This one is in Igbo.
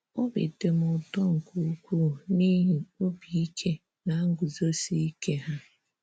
Obi dị m ụtọ nke ukwuu n’ihi obi ike na nguzosi ike ha.